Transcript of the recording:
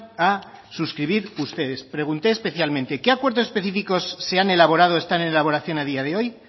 a suscribir ustedes pregunté especialmente qué acuerdos específicos se han elaborado o están en elaboración a día de hoy